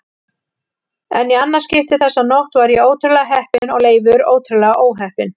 En í annað skipti þessa nótt var ég ótrúlega heppinn og Leifur ótrúlega óheppinn.